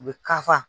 U bɛ ka fa